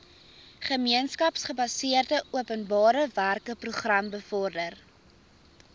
gemeenskapsgebaseerde openbarewerkeprogram bevorder